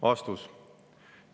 " Vastus.